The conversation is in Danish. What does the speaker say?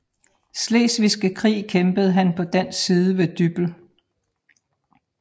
Slesvigske Krig kæmpede han på dansk side ved Dybbøl